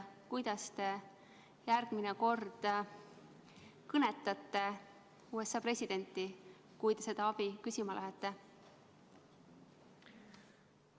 Kuidas te järgmine kord kõnetate USA presidenti, kui te seda abi küsima lähete?